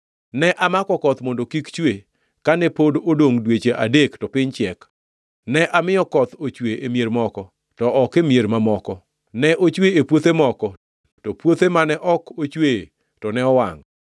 “Ne amako koth mondo kik chue kane pod odongʼ dweche adek to piny chiek. Ne amiyo koth ochwe e mier moko, to ok e mier mamoko. Ne ochwe e puothe moko, to puothe mane ok ochweye, to ne wangʼ.